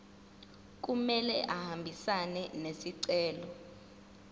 kumele ahambisane nesicelo